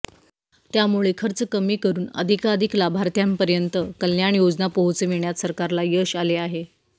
त्यामुळे खर्च कमी करून अधिकाधिक लाभार्थ्यांपर्यंत कल्याण योजना पोहोचविण्यात सरकारला यश आले आहे